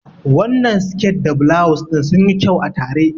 Wannan siket da bulawus ɗin sunyi kyau a tare.